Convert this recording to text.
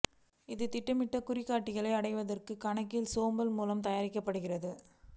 இது திட்டமிட்ட குறிகாட்டிகளை அடைவதற்கு கணக்கியல் சேம்பர் மூலம் தயாரிக்கப்படுகிறது